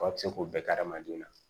Aw bɛ se k'o bɛɛ kɛ hadamadenw na